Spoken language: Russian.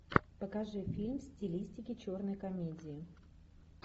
покажи фильм в стилистике черной комедии